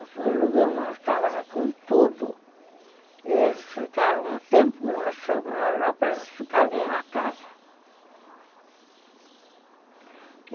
Eu fui alugar uma casa com tudo e eles ficaram um tempo que nós fomos na Europa, eles ficaram na casa.